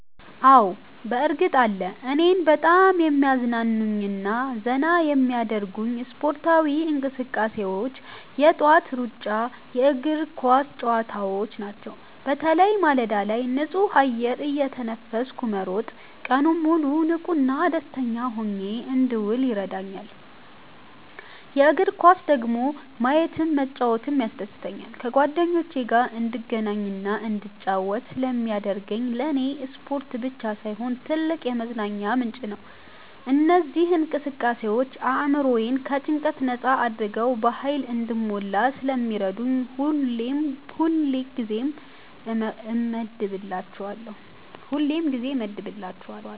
አዎ፣ በእርግጥ አለ! እኔን በጣም የሚያዝናኑኝና ዘና የሚያደርጉኝ ስፖርታዊ እንቅስቃሴዎች የጠዋት ሩጫና የእግር ኳስ ጨዋታዎች ናቸው። በተለይ ማለዳ ላይ ንጹህ አየር እየተነፈስኩ መሮጥ ቀኑን ሙሉ ንቁና ደስተኛ ሆኜ እንድውል ይረዳኛል። የእግር ኳስን ደግሞ ማየትም መጫወትም ያስደስተኛል። ከጓደኞቼ ጋር እንድገናኝና እንድጫወት ስለሚያደርገኝ ለኔ ስፖርት ብቻ ሳይሆን ትልቅ የመዝናኛ ምንጭ ነው። እነዚህ እንቅስቃሴዎች አእምሮዬን ከጭንቀት ነጻ አድርገው በሃይል እንድሞላ ስለሚረዱኝ ሁሌም ጊዜ እመድብላቸዋለሁ።